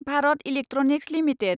Bharat electronics limited